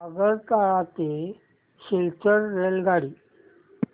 आगरतळा ते सिलचर रेल्वेगाडी